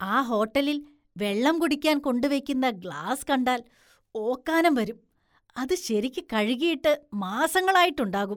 ആ ഹോട്ടലില്‍ വെള്ളം കുടിക്കാന്‍ കൊണ്ടുവെയ്ക്കുന്ന ഗ്ലാസ് കണ്ടാല്‍ ഓക്കാനും വരും, അത് ശരിക്ക് കഴുകിയിട്ട് മാസങ്ങളായിട്ടുണ്ടാകും.